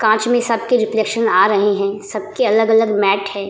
कांच में सब के रिफ्लेक्शन आ रहे है सब के अलग-अलग मेट है ।